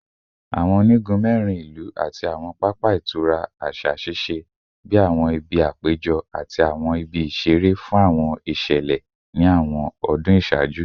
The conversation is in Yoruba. Awọn onigun mẹrin ilu ati awọn papa itura aṣa ṣiṣẹ bi awọn ibi apejọ ati awọn ibi isere fun awọn iṣẹlẹ ni awọn ọdun iṣaaju